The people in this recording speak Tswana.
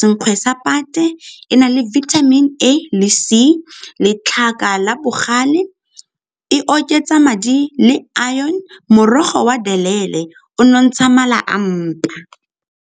senkgwe sa pate e na le vitamin A le C. Letlhaka la bogale e oketsa madi le iron, morogo wa o nontsha mala a mpa.